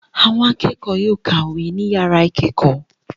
Àwọn akẹ́kọ̀ọ́ yóò kàwé ní ìyàrá ìkẹ́kọ̀ọ́.